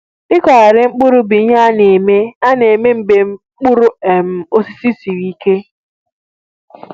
Ịkụghari mkpụrụ bụ ihe a na-eme a na-eme mgbe mkpụrụ um osisi sịrị ike